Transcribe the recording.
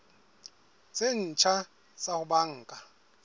tse ntjha tsa ho banka